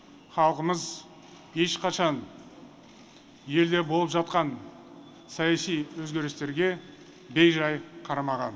халқымыз ешқашан елде болып жатқан саяси өзгерістерге бейжай қарамаған